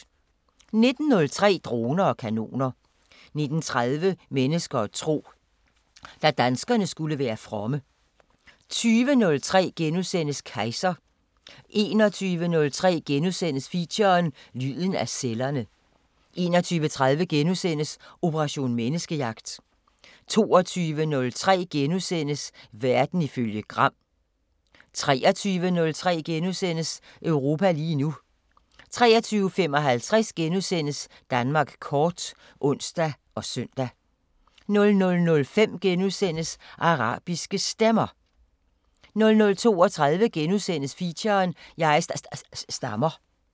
19:03: Droner og kanoner 19:30: Mennesker og tro: Da danskerne skulle være fromme 20:03: Kejser * 21:03: Feature: Lyden af cellerne * 21:30: Operation Menneskejagt * 22:03: Verden ifølge Gram * 23:03: Europa lige nu * 23:55: Danmark kort *(søn og ons) 00:05: Arabiske Stemmer * 00:32: Feature: Jeg sta-sta-stammer *